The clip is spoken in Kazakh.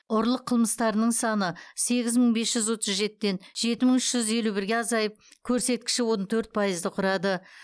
ұрлық қылмыстарының саны сегіз мың бес жүз отыз жетіден жеті мың үш жүз елу бірге азайып көрсеткіші он төрт пайызды құрады